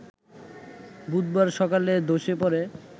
বুধবার সকালে ধসে পড়ে